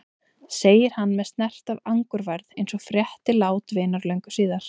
segir hann með snert af angurværð eins og frétti lát vinar löngu síðar.